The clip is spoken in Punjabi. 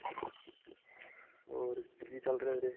ਹੋਰ ਕੀ ਚੱਲ ਰਿਹਾ ਵੀਰੇ?